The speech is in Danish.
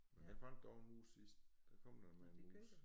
Men den fandt da også en mus sidst den kom da med en mus